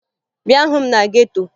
Bịa hụ m na geto!